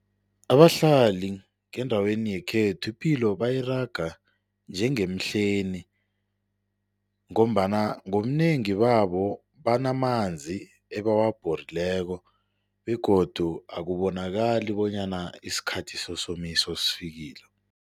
Abahlali ngendaweni yekhethu, ipilo bayiraga njengemhlweni ngombana ngobunengi babo banamanzi ebawabhorileko begodu akubonakali bonyana isikhathi sesomiso sesifikile.